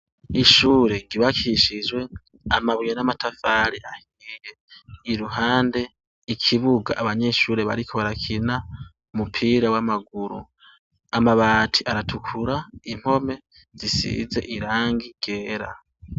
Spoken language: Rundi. Ishure ryubakishijwe amabuye n'amatafari ahiye iruhande ikibuga abanyeshure bariko barakina umupira w'amaguru, amabati aratukura impome zisize irangi ryera.